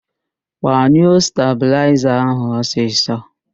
Gbanyụo stabịlaịza ahụ ọsịsọ!